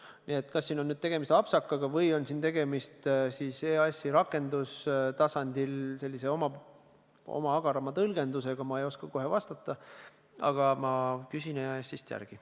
Kas konkreetsel juhul on tegemist apsakaga või on tegemist EAS-i liiga agara tõlgendusega rakendustasandil, ma ei oska kohe vastata, aga ma küsin EAS-ist järele.